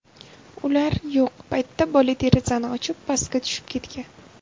Ular yo‘q paytda bola derazani ochib, pastga tushib ketgan.